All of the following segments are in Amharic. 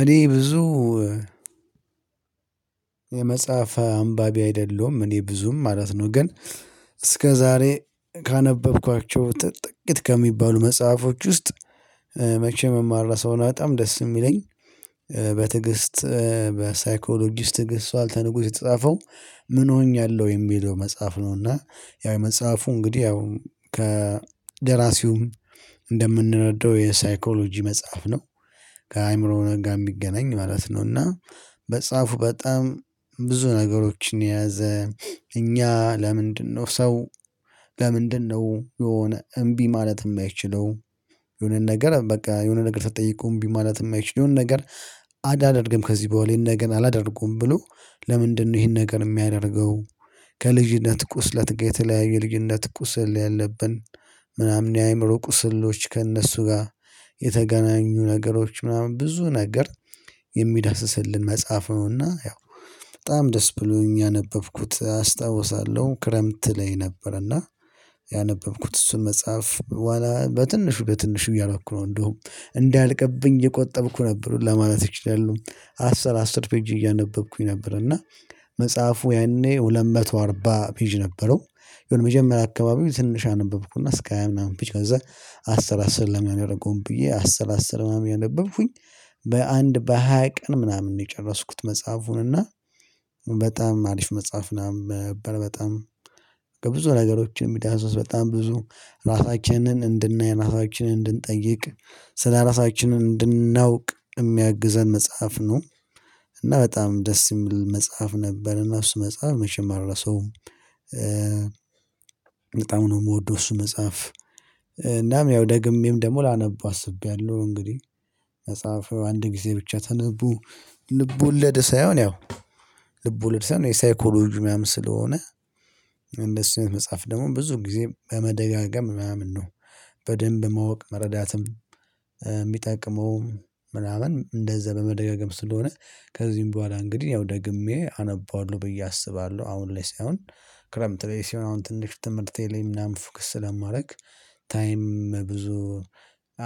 እኔ ብዙ የመጽሐፍ አንባቢ አይደለሁም እኔ ብዙም ማለት ነው። ግን እስከዛሬ ካነበብኳቸው ጥቂት ከሚባሉ መጽሐፎች ውስጥ መቼም ማረሳው እና በጣም ደስ የሚለኝ በትዕግስት በሳይኮሎጂስት ትዕግስት ዋልተንጉስ የተጻፈው ምን ሆኛለሁ የሚለው መጽሐፍ ነው። እና ያው መጽሐፉ እንግዲህ ያው ከደራሲውም እንደምንረዳው የሳይኮሎጂ መጽሐፍ ነው። ከአእምሮ ጋር የሚገናኝ ማለት ነው። እና መጽሓፉ በጣም ብዙ ነገሮችን የያዘ እኛ ለምንድነው ሰው ለምንድነው የሆነ እምቢ ማለት የማይችለው? የሆነ ነገር በቃ የሆነ ነገር ስትጠይቁ እምቢ ማለት የማይችለው የሆነ ነገር። አላደርግም ከዚህ በኋላ ይሄን ነገር አላደርገውም ብሎ ለምንድነው ይሄን ነገር የሚያደርገው? ከልጅነት ቁስለት ጋር የተለያየ የልጅነት ቁስል ያለብን ምናምን የአእምሮ ቁስሎች ከእነሱ ጋር የተገናኙ ነገሮች ምናምን ብዙ ነገር የሚዳስስልን መጽሐፍ ነውና ያው በጣም ደስ ብሎኝ ያነበብኩት አስታውሳለሁ። ክረምት ላይ ነበር እና ያነበብኩት እሱን መጽሐፍ በትንሹ በትንሹ እያረኩ ነው እንደውም እንዳያልቅብኝ እየቆጠብኩ ነበር። ለማለት እችላለው አስር አስር ፔጅ እያነበብኩኝ ነበር። እና መጽሐፉ ያኔ ሁለት መቶ አርባ ፔጅ ነበረው። የሆነ መጀመሪያ አካባቢ ትንሽ አነበብኩና እስከ ሃያ ምናምን ፔጅ ከዛ አስር አስር ለምን አላደርገውም ብዬ አስር አስር ምናምን እያነበብኩኝ በአንድ በሃያ ቀን ምናምን ነው የጨረስኩት። መጽሐፉን እና በጣም አሪፍ መጽሐፍ ምናምን ነበር። በጣም ከብዙ ነገሮች የሚዳስስ በጣም ብዙ ራሳችንን እንድናይ ራሳችንን እንድንጠይቅ ስለራሳችንን እንድናውቅ የሚያግዘን መጽሐፍ ነው። እና በጣም ደስ የሚል መጽሐፍ ነበር እና እሱ መጽሐፍ መቼም አልረሳውም። በጣም ነው ምወደው እሱን መጽሐፍ እናም ያው ደግሜም ደግሞ ላነበው አስቤያለሁ። እንግዲህ መጽሐፉ አንድ ጊዜ ብቻ ተነቦ ልብ ወለድ ሳይሆን ያው ልብ ወለድ ሳይሆን የሳይኮሎጂ ምናምን ስለሆነ እነሱን መጽሐፍ ደግሞ ብዙ ጊዜ በመደጋገም ምናምን ነው። በደንብ ማወቅ መረዳትም የሚጠቅመው ምናምን እንደዛ በመደጋገም ስለሆነ። ከዚህም በኋላ እንግዲህ ያው ደግሜ አነባዋለሁ ብዬ አስባለሁ። አሁን ላይ ሳይሆን ክረምት ላይ ሲሆን አሁን ትንሽ ትምህርቴ ላይ ምናምን ፎከስ ስለማረግ ታይም ብዙ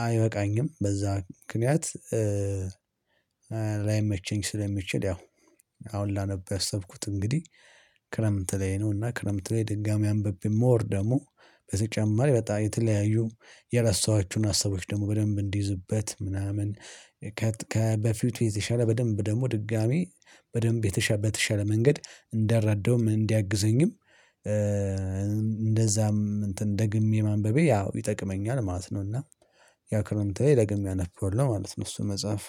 አይበቃኝም በዛ ምክንያት። ላይመቸኝ ስለሚችል ያው አሁን ላነበው ያሰብኩት እንግዲህ ክረምት ላይ ነው። እና ክረምት ላይ ድጋሚ አንብቤ ሞር ደግሞ በተጨማሪ በጣም የተለያዩ የረሳኋቸውን ሀሳቦች ደግሞ በደንብ እንዲይዝበት ምናምን ከበፊቱ የተሻለ በደንብ ደግሞ ድጋሚ በደንብ የተሻለ በተሻለ መንገድ እንድረዳውም እንዲያግዘኝም እንደዛም እንትን ደግሜ ማንበቤ ያው ይጠቅመኛል ማለት ነው። እና ያው ክረምት ላይ ደግሜ አነበዋለው ማለት ነው። እሱን መጽሐፍ